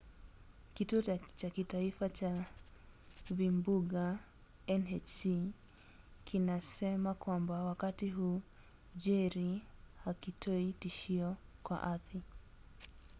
kituo cha kitaifa cha vimbunga nhc kinasema kwamba wakati huu jerry hakitoi tishio kwa ardhi